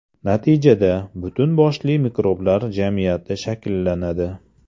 Natijada, butun boshli mikroblar jamiyati shakllanadi.